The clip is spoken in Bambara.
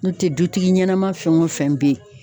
N'o tɛ dutigi ɲɛnɛma fɛn wo fɛn be yen